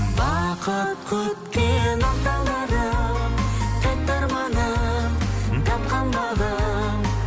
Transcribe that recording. бақыт күткен ақ таңдарым тәтті арманым тапқан бағым